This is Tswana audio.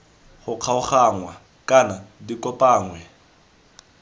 go kgaoganngwa kana di kopanngwe